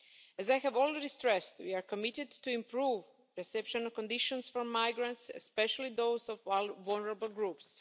As I have already stressed, we are committed to improving reception conditions for migrants, especially those of vulnerable groups.